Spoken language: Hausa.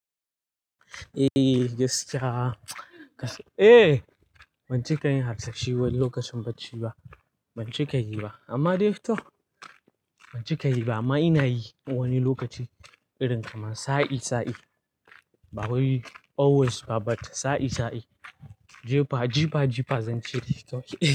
Eh gaskiya. Eh, ban ci ka yin harsashi wani lokacin bacci ba. Ban ci ka yi ba, amma dai to ban ci ka yi ba amma ina yi wani lokaci irin kamar sa'i sa'i. Ba wai always ba, but sa'i sa'i. Jifa jifa zanyi shiri to.